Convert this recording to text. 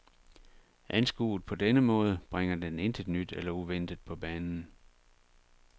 Anskuet på denne måde bringer den intet nyt eller uventet på banen.